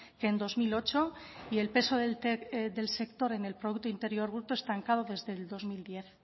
que en dos mil ocho y el peso del sector en el producto interior bruto estancado desde dos mil diez